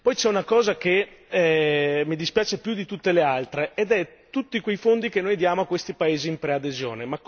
Poi c'è una cosa che mi dispiace più di tutte le altre, ovvero tutti quei fondi che noi diamo a questi paesi in preadesione.